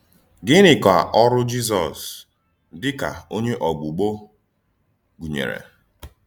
Gịnị kà Ọ́rụ́ Jízọs dị ka Ònyé Ọ̀gbùgbò gụ̀nyèrè?